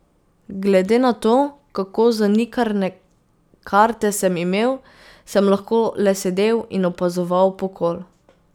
Glede na to, kako zanikrne karte sem imel, sem lahko le sedel in opazoval pokol.